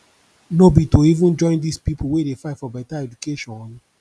no be to even join dis pipu wey dey fight fore beta education